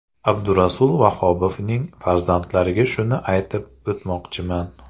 Abdurasul Vahobovning farzandlariga shuni aytib o‘tmoqchiman.